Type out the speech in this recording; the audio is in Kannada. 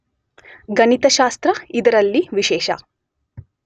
ಗಣಿತಶಾಸ್ತ್ರ , ಇದರಲ್ಲಿ ವಿಶೇಷ